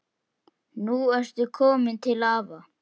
Nú ertu komin til afa.